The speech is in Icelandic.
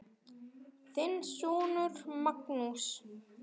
Þinn sonur Magnús.